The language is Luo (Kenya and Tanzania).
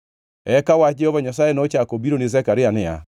Eka wach Jehova Nyasaye nochako obiro ni Zekaria niya,